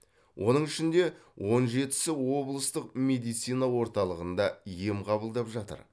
оның ішінде он жетісі облыстық медицина орталығында ем қабылдап жатыр